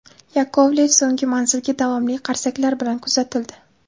Yakovlev so‘nggi manzilga davomli qarsaklar bilan kuzatildi.